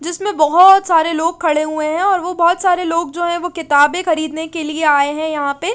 जिसमे बोहत सरे लोग खड़े हुए है और वो जो बोहोत सारे लोग जो है वो किताबे खरीद ने के लिए आये है यहाँ पे --